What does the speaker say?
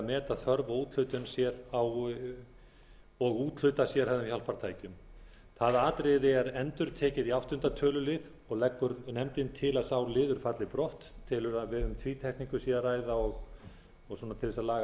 meta þörf og úthluta sérhæfðum hjálpartækjum það atriði er endurtekið í áttunda töluliðar og leggur nefndin til að sá liður falli brott telur að um tvítekningu sé að ræða og til þess að laga